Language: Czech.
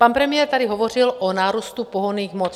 Pan premiér tady hovořil o nárůstu pohonných hmot.